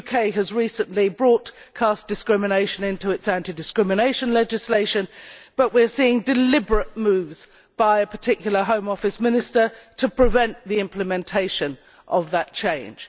The UK has recently brought caste discrimination into its anti discrimination legislation, but we are seeing deliberate moves by a particular Home Office minister to prevent the implementation of that change.